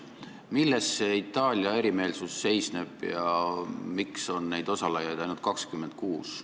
Milles see Itaalia erimeelsus seisneb ja miks on neid osalejaid ainult 26?